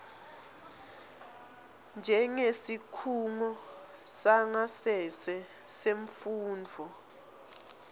njengesikhungo sangasese semfundvo